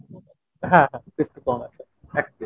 হ্যাঁ crispy prawn আছে এক plate।